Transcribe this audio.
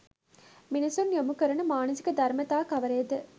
මිනිසුන් යොමු කරන මානසික ධර්මතා කවරේද?